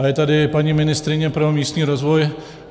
A je tady paní ministryně pro místní rozvoj.